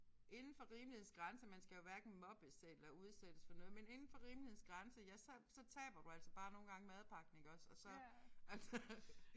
Inden for rimelighedens grænser man skal jo hverken mobbes eller udsættes for noget men inden for rimelighedens grænser ja så så taber du altså bare nogle gange madpakken iggås og så altså